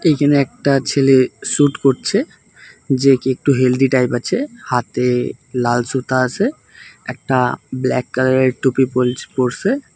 এখানে একটা ছেলে শুট করছে যে কি একটু হেলদি টাইপ আছে হাতে লাল সুতো আছে একটা ব্ল্যাক কালারের টুপি পল-পরসে ।